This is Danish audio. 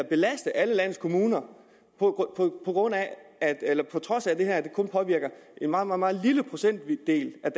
belaste alle landets kommuner på trods af at det her kun påvirker en meget meget lille procentdel af